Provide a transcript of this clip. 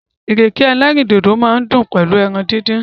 Ìrèké ẹlẹ́rìndòdò máa dùn pẹ̀lú ẹran díndín.